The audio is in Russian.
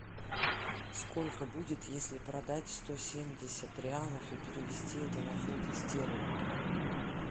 сколько будет если продать сто семьдесят реалов и перевести это на фунты стерлинги